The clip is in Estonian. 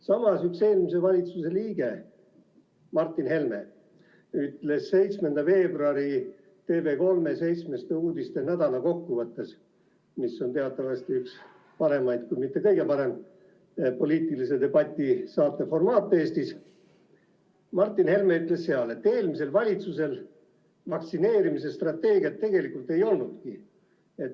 Samas eelmise valitsuse liige Martin Helme ütles 7. veebruaril TV3 "Seitsmestes uudistes" nädala kokkuvõttes – mis on teatavasti üks paremaid, kui mitte kõige parem poliitilise debati saate formaat Eestis –, et eelmisel valitsusel vaktsineerimise strateegiat tegelikult ei olnudki.